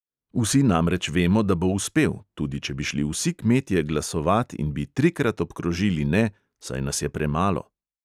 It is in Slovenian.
Vsi namreč vemo, da bo uspel, tudi če bi šli vsi kmetje glasovat in bi trikrat obkrožili ne, saj nas je premalo.